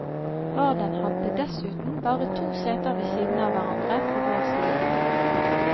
Raden hadde dessuten bare to seter ved siden av hverandre på vår side.